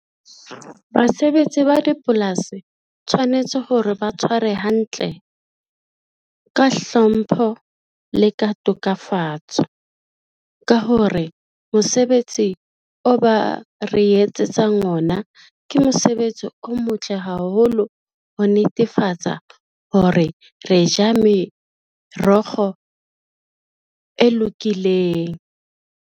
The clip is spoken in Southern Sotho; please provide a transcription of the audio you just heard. Basebetsi ba dipolasi tshwanetse hore ba tshware hantle, ka hlompho, le ka tokafatso. Ka hore mosebetsi o ba re etsetsang ona, ke mosebetsi o motle haholo ho netefatsa hore re ja merogo e lokileng.